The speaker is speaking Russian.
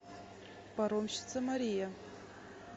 паромщица мария